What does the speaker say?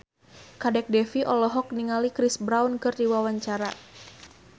Kadek Devi olohok ningali Chris Brown keur diwawancara